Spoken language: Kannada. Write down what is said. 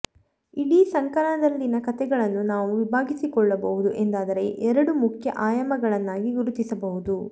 ಇಡೀ ಸಂಕಲನದಲ್ಲಿನ ಕಥೆಗಳನ್ನು ನಾವು ವಿಭಾಗಿಸಿಕೊಳ್ಳಬಹುದು ಎಂದಾದರೆ ಎರಡು ಮುಖ್ಯ ಆಯಾಮಗಳನ್ನಾಗಿ ಗುರುತಿಸಬಹುದು